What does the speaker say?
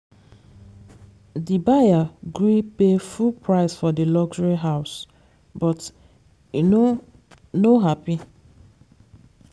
the buyer gree pay full price for the luxury house but e no no happy.